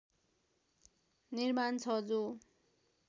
निर्माण छ जो